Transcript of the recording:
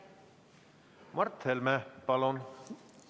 Mart Helme, palun!